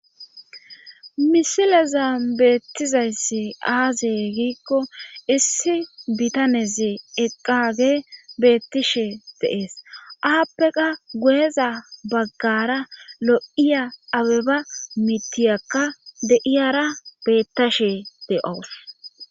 Misileza beettizayssi aazee giikko issi bitaneze eqqage beettishe deees aappeka gueza baggara lo7iya abeba mitiyakka deiyara bettashe de7owos.